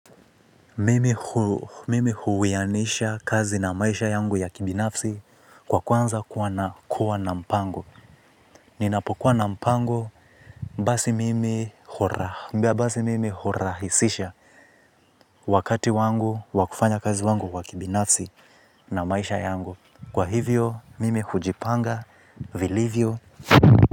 Mimi huwianisha kazi na maisha yangu ya kibinafsi kwa kwanza kuwa na kuwa na mpango. Ninapokuwa na mpango mbasi mimi hurahisisha wakati wangu wakufanya kazi wangu kwa kibinafsi na maisha yangu. Kwa hivyo mimi hujipanga vilivyo.